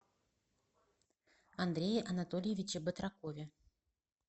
андрее анатольевиче батракове